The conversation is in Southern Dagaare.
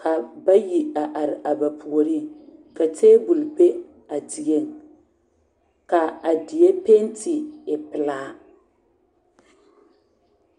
ka bayi a are a ba puoriŋ ka tabol be a dieŋ ka a die penti e pilaa.